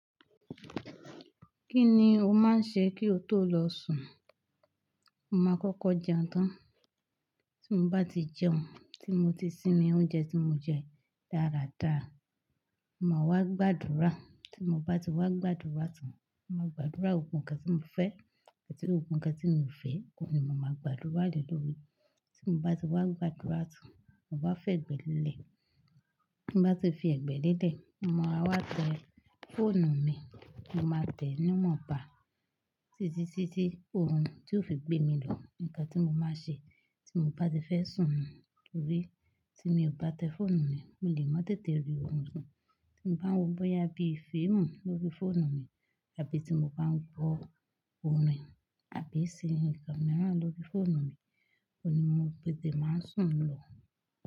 Kí ni o máa ń ṣe kí o tó lọ sùn? Mo máa kọ́kọ́ jẹun tán. Tí mo bá ti jẹun, tí mo ti sinmi oúnjẹ tí mo jẹ dáradára, máa wá gbàdúrà. Tí mo bá ti wá gbàdúrà tán, mo máa gbàdúrà gbogbo ǹkan tí mo fẹ́ àti gbogbo ǹkan tí mo ò fẹ́. Ohun ni mo máa gbàdúrà le lori. Tí mo bá ti wá gbàdúrà tán, mo bá fẹ́ ẹgbẹ́ lélẹ̀. Tí mo bá ti fi ẹgbẹ́ lélẹ̀, mo máa wá tẹ fóònù mi. Mo máa tẹ̀ ẹ́ níwọ̀nba títí ti tí orun tí ó fi gbé mi lọ, nǹkan tí mo máa ṣe tí mo bá ti fẹ́ sùn nù. Nítorí tí mi ò bá tẹ fóònù mi, mi lè má tètè rí orun sun. Tí mo bá ń wo bọ́yá bí fíìmù lórí fóònù mi àbí tí mo bá ń gbọ́ orin àbí ṣe nǹkan mìíràn lórí fóònù mi, oun ni mo tètè máa n sùn lọ.